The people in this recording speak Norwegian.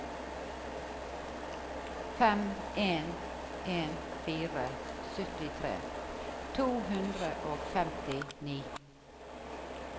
fem en en fire syttitre to hundre og femtini